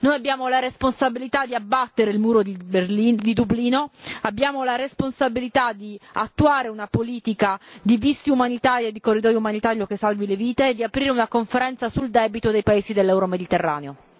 Noi abbiamo la responsabilità di abbattere il muro di Dublino, abbiamo la responsabilità di attuare una politica di visti umanitari e di un corridoio umanitario che salvi le vite e di aprire una conferenza sul debito dei paesi dell'euromediterraneo.